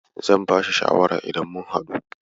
zan bashi shawara idan mun haɗu.